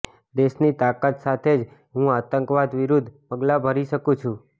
દેશની તાકત સાથે જ હું આતંકવાદ વિરુદ્ધ પગલા ભરી શકું છું